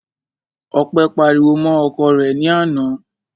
Ọpẹ́ pariwo mọ́ ọkọ rẹ̀ ní àná.